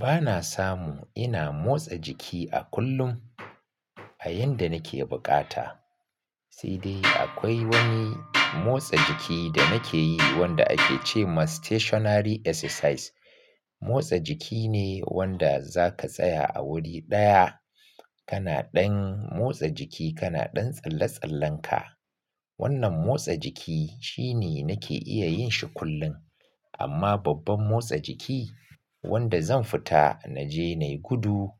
Ba na samu ina motsa jiki a kullum a yanda nake bukata. Sai dai akwai wani motsa jiki da nake yi wanda ake ce ma "stationary exercise". Motsa jiki ne wanda za ka tsaya a wuri ɗaya, kana ɗan motsa jiki, kana ɗan tsalle-tsallen ka. Wannan motsa jiki shine nake iya yin shi kullum. Amma babban motsa jiki wanda zan fita naje nai gudu,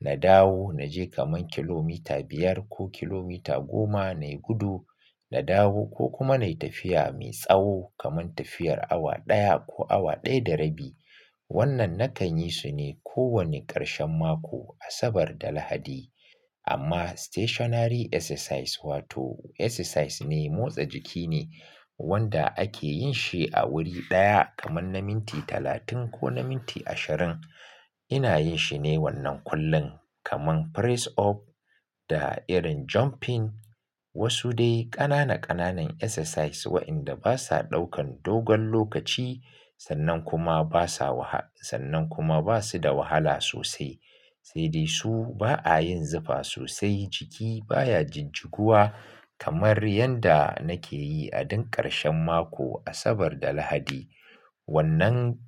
na dawo naje kaman kilomita biyar ko kilomita goma nai gudu, na dawo ko kuma nai tafiya mai tsawo kaman tafiyar awa ɗaya ko awa ɗaya da rabi. Wannan nakan yi su ne ko wani ƙarshen mako, Asabar da Lahadi. Amma "stationary exercise" wato exercise ne, motsa jiki ne wanda ake yin shi a wuri ɗaya kaman na minti talatin ko na minti ashirin. Ina yin shi ne wannan kullum kaman "press up" da irin "jumping". Wasu dai ƙanana ƙananan exercise wa'inda basa ɗaukan dogon lokaci sannan kuma basa waha-- sannan kuma basu da wahala sosai. Sai dai su ba a yin zufa sosai, jiki baya jijiguwa kamar yanda nake yi a duk ƙarshen mako, Asabar da Lahadi. Wannan.